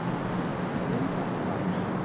Grundarhvarfi